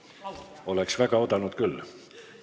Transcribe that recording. Oleks väga oodanud küll.